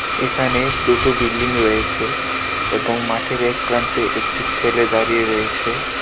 এখানে দুটো বিল্ডিং রয়েছে এবং মাঠের এক প্রান্তে একটি ছেলে দাঁড়িয়ে রয়েছে।